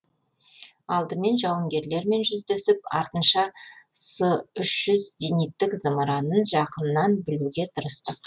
алдымен жауынгерлермен жүздесіп артынша с үш жүз зениттік зымыранын жақыннан білуге тырыстық